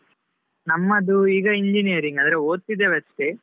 ನಮ್ಮದು ಈಗ engineering , ಅಂದ್ರೆ ಓದುತ್ತಿದ್ದೇವೆ ಅಷ್ಟೇ.